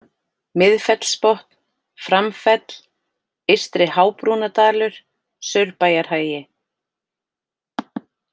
Miðfellsbotn, Framfell, Eystri-Hábrúnadalur, Saurbæjarhagi